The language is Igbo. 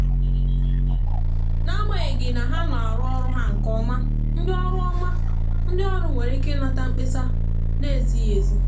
n’agbanyeghị na ha na arụ ọrụ ha nke ọma ndị ọrụ ọma ndị ọrụ nwere ike inata mkpesa na-ezighi ezi.